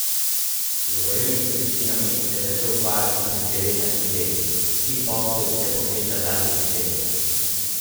Z borilnimi veščinami se je začel ukvarjati pri devetnajstih letih, kikboksu se posveča zadnjih deset let.